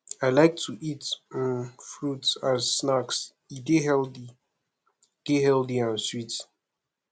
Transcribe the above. i like to eat um fruits as snacks e dey healthy dey healthy and sweet